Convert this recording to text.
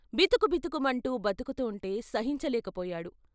బితుకుబితుకు మంటూ బరుకుతుంటే సహించలేక పోయాడు.